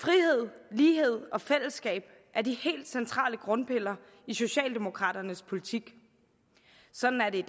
frihed lighed og fællesskab er de helt centrale grundpiller i socialdemokraternes politik sådan er det